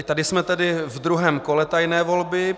I tady jsme tedy ve druhém kole tajné volby.